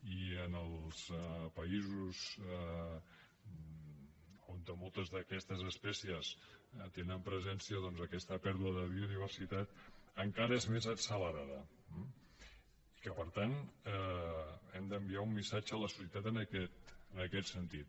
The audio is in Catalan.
i en els països on moltes d’aquestes espècies tenen presència doncs aquesta pèrdua de biodiversitat encara és més accelerada i per tant hem d’enviar un missatge a la societat en aquest sentit